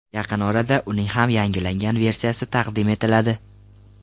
Yaqin orada uning ham yangilangan versiyasi taqdim etiladi.